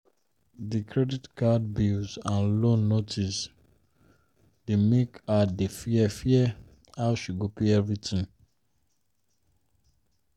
the plenty credit card bills and loan notice dey make her dey fear fear how she go pay everything.